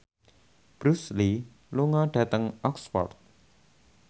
Bruce Lee lunga dhateng Oxford